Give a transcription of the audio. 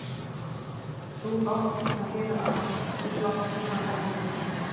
Þú átt að gera allt, þú átt að taka til.